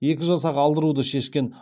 екі жасақ алдыруды шешкен